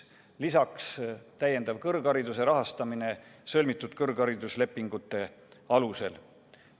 Lisaks on ette nähtud täiendav kõrghariduse rahastamine sõlmitud kõrghariduslepingute alusel.